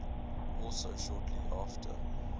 also shortly after